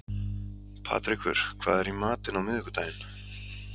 Patrekur, hvað er í matinn á miðvikudaginn?